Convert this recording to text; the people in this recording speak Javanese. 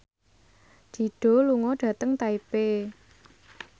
Dido lunga dhateng Taipei